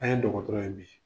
An ye dɔgɔtɔrɔ ye bi.